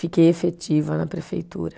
Fiquei efetiva na prefeitura.